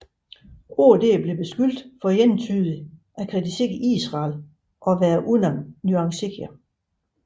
OD blev beskyldt for entydigt at kritisere Israel og være unuanceret